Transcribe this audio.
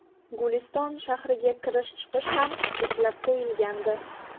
Guliston shahriga kirish-chiqish ham cheklab qo‘yilgandi .